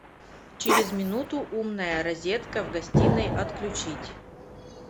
через минуту умная розетка в гостиной отключить